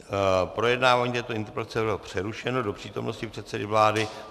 Projednávání této interpelace bylo přerušeno do přítomnosti předsedy vlády.